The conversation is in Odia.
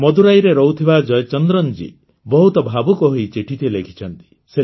ମଦୁରାଇରେ ରହୁଥିବା ଜୟଚନ୍ଦ୍ରନଜୀ ବହୁତ ଭାବୁକ ହୋଇ ଚିଠିଟିଏ ଲେଖିଛନ୍ତି